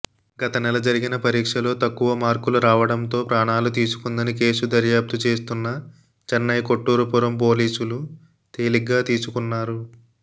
గతనెల జరిగిన పరీక్షలో తక్కువమార్కులు రావడంతో ప్రాణాలుతీసుకుందని కేసు దర్యాప్తు చేస్తున్న చెన్నై కొట్టూరుపురం పోలీసులు తేలిగ్గా తీసుకున్నారు